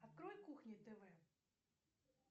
открой кухни тв